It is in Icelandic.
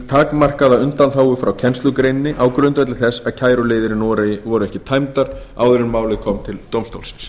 takmarkaða undanþágu frá kennslugreininni á grundvelli þess að kæruleiðir í noregi voru ekki tæmdar áður en málið kom til dómstólsins